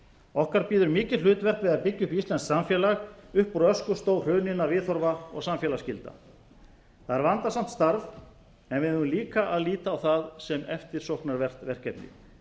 okkar bíður mikið hlutverk við að byggja upp íslenskt samfélag upp úr öskustó hruninna viðhorfa og samfélagsgilda það er vandasamt starf en við eigum líka að líta á það sem eftirsóknarvert verkefni